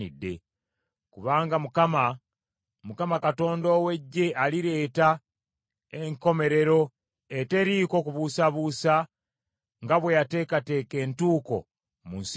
Kubanga Mukama, Mukama Katonda ow’Eggye alireeta enkomerero eteriiko kubuusabuusa nga bwe yateekateeka entuuko mu nsi yonna.